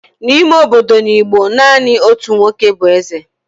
n'ime obodo n'Igbo, naanị otu nwoke bụ eze